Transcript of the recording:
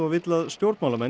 vill að stjórnmálamenn